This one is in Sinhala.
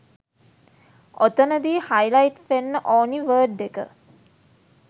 ඔතනදි හයිලයිට් වෙන්න ඕනි වර්ඩ් එක